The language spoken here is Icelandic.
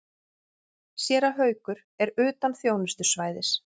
Séra Haukur er utan þjónustusvæðis.